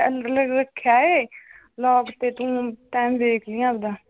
ਰੱਖਿਆ ਏ ਲੌਕ ਤੇ ਤੂੰ ਟਾਈਮ ਵੇਖਲੀ ਆਵਦਾ l